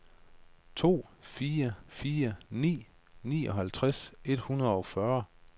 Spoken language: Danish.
to fire fire ni nioghalvtreds et hundrede og fyrre